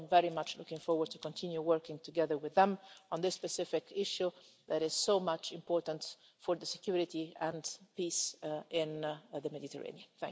So I'm very much looking forward to continue working together with them on this specific issue that is so important for security and peace in the Mediterranean.